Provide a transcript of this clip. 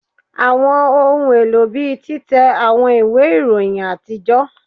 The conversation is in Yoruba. Awọn ohun elo bii titẹ awọn iwe iroyin atijọ